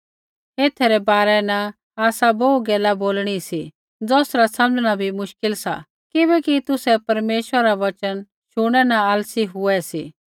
एथै रै बारै न आसा बोहू गैला बोलणी सी ज़ौसरा समझ़णा बी मुश्किल सा किबैकि तुसै परमेश्वरा रा वचन शुणनै न आलसी हुऐ सी